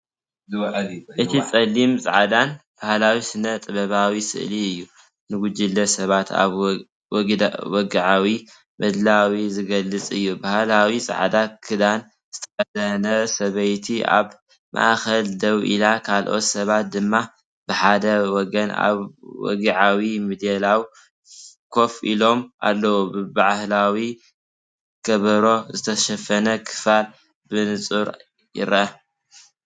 እቲ ጸሊምን ጻዕዳን ባህላዊ ስነ-ጥበባዊ ስእሊ እዩ። ንጉጅለ ሰባት ኣብ ወግዓዊ ምድላው ዝገልጽ እዩ። ባህላዊ ጻዕዳ ክዳን ዝተኸድነ ሰበይቲኣብ ማእከል ደው ኢላ፤ ካልኦት ሰባት ድማ ብሓደ ወገን ኣብ ወግዓዊ ምድላው ኮፍ ኢሎም ኣለዉ። ብባህላዊ ከበሮ ዝተሸፈነ ክፋል ብንጹር ይርአ።